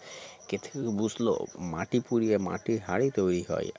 কেতকী বুসলো মাটি পুঁড়িয়ে মাটির হাড়ি তৈরী হয়